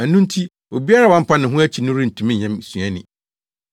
Ɛno nti obiara a wampa ne ho akyi no rentumi nyɛ me suani.